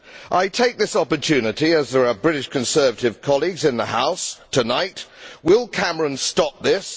I take this opportunity to ask, as there are British Conservative colleagues in the House tonight, will Cameron stop this?